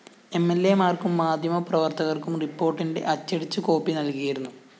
എംഎല്‍എമാര്‍ക്കും മാധ്യമപ്രവര്‍ത്തകര്‍ക്കും റിപ്പോര്‍ട്ടിന്റെ അച്ചടിച്ച കോപ്പി നല്‍കിയിരുന്നു